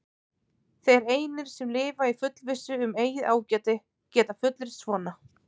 Þeir einir, sem lifa í fullvissu um eigið ágæti, geta fullyrt svona.